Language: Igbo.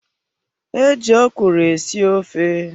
E ji okwuru esi ofe.